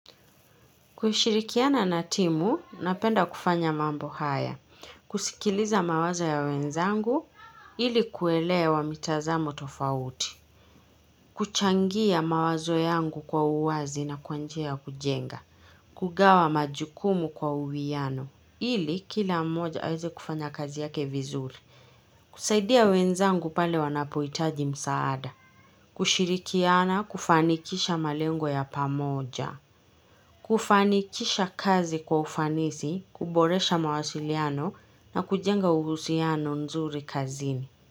Kushirikiana na timu, napenda kufanya mambo haya, kusikiliza mawazo ya wenzangu, ilikuelewa mitazamo tofauti, kuchangia mawazo yangu kwa uwazi na kwa njia ya kujenga, kugawa majukumu kwa uwiano, ili kila mmoja aweze kufanya kazi yake vizuri, kusaidia wenzangu pale wanapohitaji msaada, kushirikiana, kufanikisha malengo ya pamoja, kufanikisha kazi kwa ufanisi, kuboresha mawasiliano na kujenga uhusiano nzuri kazini.